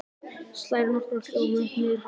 Slær nokkra hljóma upp og niður hálsinn.